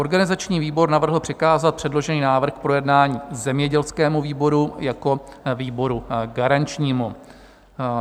Organizační výbor navrhl přikázat předložený návrh k projednání zemědělskému výboru jako výboru garančnímu.